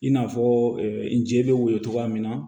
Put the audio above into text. I n'a fɔ nje bɛ woyo cogoya min na